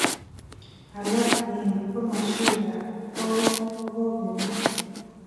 Alak eng, komoswek ab koweek kokokemwa